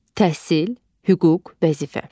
Təhsil, hüquq, vəzifə.